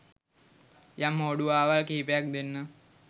යම්හෝඩුවාවල් කිහිපයක් දෙන්නම්